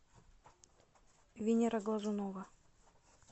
венера глазунова